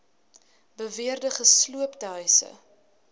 beweerde gesloopte huise